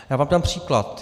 Já vám dám příklad.